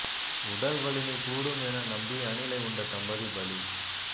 உடல் வலிமை கூடும் என நம்பி அணிலை உண்ட தம்பதி பலி